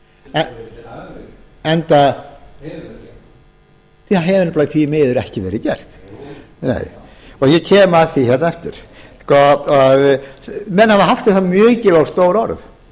það hefur verið gert það hefur nefnilega því miður ekki verið gert jú jú nei og ég kem að því aftur menn hafa haft um það